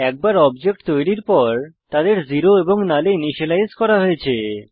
একবার অবজেক্ট তৈরীর পর তাদের 0 এবং নাল এ ইনিসিয়েলাইজ করা হয়েছে